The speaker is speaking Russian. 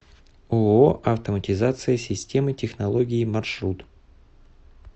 ооо автоматизация системы технологии маршрут